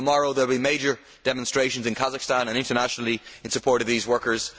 Tomorrow there will be major demonstrations in Kazakhstan and internationally in support of these workers.